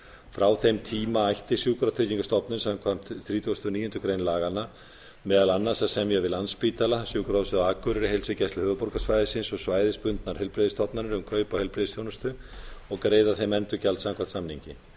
frá þeim tíma ætti sjúkratryggingastofnun samkvæmt þrítugustu og níundu grein laganna meðal annars að semja við landspítala sjúkrahúsið á akureyri heilsugæslu höfuðborgarsvæðisins og svæðisbundnar heilbrigðisstofnanir um kaup á heilbrigðisþjónustu og greiða þeim endurgjald samkvæmt samningi